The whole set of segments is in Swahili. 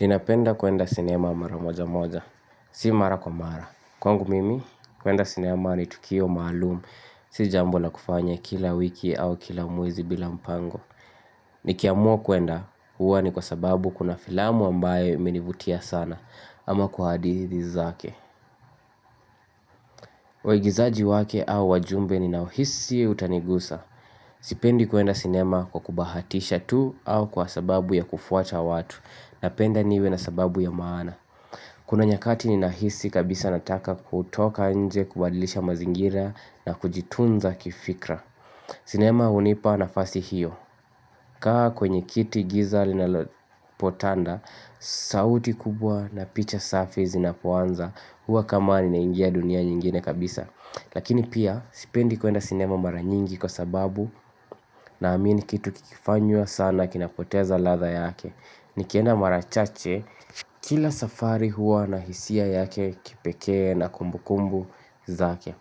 Ninapenda kuenda sinema mara moja moja. Si mara kwa mara. Kwangu mimi, kuenda sinema ni tukio maalumu. Si jambo la kufanya kila wiki au kila mwezi bila mpango. Nikiamua kuenda, huwa ni kwa sababu kuna filamu ambayo imenivutia sana. Ama kwa hadithi zake. Waigizaji wake au wajumbe ninaohisi utanigusa. Sipendi kuenda sinema kwa kubahatisha tu au kwa sababu ya kufuata watu. Napenda niwe na sababu ya maana. Kuna nyakati ninahisi kabisa nataka kutoka nje kubadilisha mazingira na kujitunza kifikra sinema hunipa nafasi hiyo kaa kwenye kiti giza linalopotanda sauti kubwa na picha safi zinapoanza huwa kama ninaingia dunia nyingine kabisa Lakini pia sipendi kuenda sinema mara nyingi kwa sababu naamini kitu kikifanywa sana kinapoteza ladha yake Nikienda mara chache kila safari huwa na hisia yake kipekee na kumbukumbu zake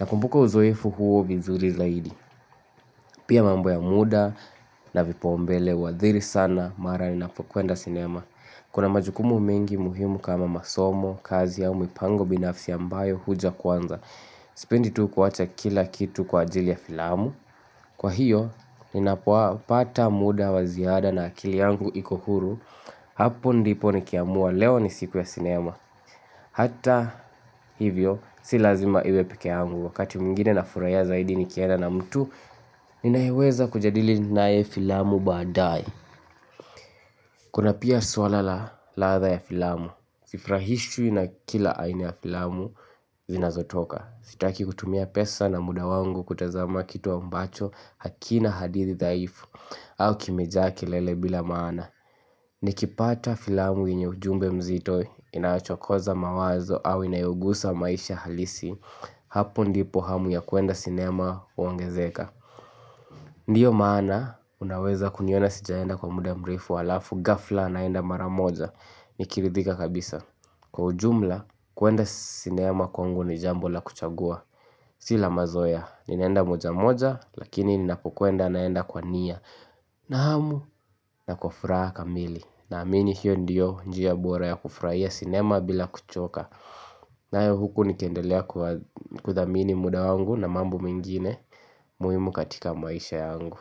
Nakumbuka uzoefu huo vizuri zaidi Pia mambo ya muda na vipaumbele uhadhiri sana mara ninapokwenda sinema Kuna majukumu mingi muhimu kama masomo, kazi ya au mipango binafsi ambayo huja kwanza Sipendi tu kuwacha kila kitu kwa ajili ya filamu Kwa hiyo, ninapopata muda wa ziada na akili yangu iko huru hapo ndipo nikiamua leo ni siku ya sinema hata hivyo si lazima iwe peke yangu wakati mwingine nafurahia zaidi nikienda na mtu ninayeweza kujadili naye filamu baadaye kuna pia swala la ladha ya filamu sifurahishwi na kila aina ya filamu zinazotoka sitaki kutumia pesa na muda wangu kutazama kitu ambacho hakina hadithi dhahiri au kimejaa kelele bila maana Nikipata filamu yenye ujumbe mzito inayochokoza mawazo au inayogusa maisha halisi Hapo ndipo hamu ya kuenda sinema uongezeka Ndio maana unaweza kuniona sijaenda kwa muda mrefu alafu ghafla naenda mara moja nikiridhika kabisa Kwa ujumla kuenda sinema kwangu ni jambo la kuchagua Si la mazoea ninaenda moja moja lakini ninapokwenda naenda kwa nia na hamu na kwa furaha kamili Naamini hio ndio njia bora ya kufurahia sinema bila kuchoka nayo huku nikiendelea kuthamini muda wangu na mambo mengine muhimu katika maisha yangu.